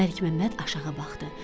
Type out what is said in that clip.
Məlik Məmməd aşağı baxdı.